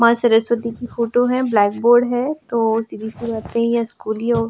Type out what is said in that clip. माँ सरस्वती की फोटो है ब्लैकबोर्ड है तो सीधीसी बात है स्कूल ही हो --